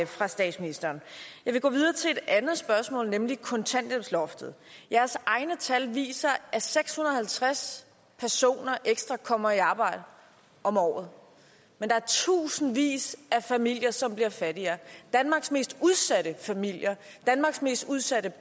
fra statsministeren jeg vil gå videre til et andet spørgsmål nemlig kontanthjælpsloftet jeres egne tal viser at seks hundrede og halvtreds personer ekstra kommer i arbejde om året men der er tusindvis af familier som bliver fattigere danmarks mest udsatte familier danmarks mest udsatte